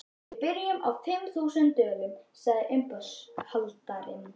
Við byrjum á fimm þúsund dölum, sagði uppboðshaldarinn.